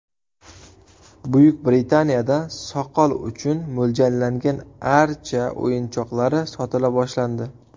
Buyuk Britaniyada soqol uchun mo‘ljallangan archa o‘yinchoqlari sotila boshlandi.